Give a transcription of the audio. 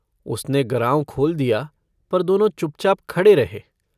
उसने गराँव खोल दिया पर दोनों चुपचाप खड़े रहे।